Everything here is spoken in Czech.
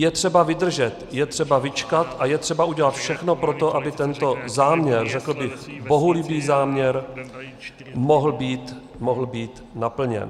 Je třeba vydržet, je třeba vyčkat a je třeba udělat všechno pro to, aby tento záměr, řekl bych bohulibý záměr, mohl být naplněn.